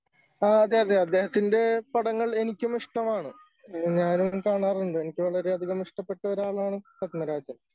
ആ അതെ അതെ അദ്ദേഹത്തിൻ്റെ പടങ്ങൾ എനിക്കും ഇഷ്ടമാണ്. ഞാനും കാണാറുണ്ട്. എനിക്ക് വളരെയധികം ഇഷ്ടപ്പെട്ട ഒരാളാണ് പത്മരാജൻ.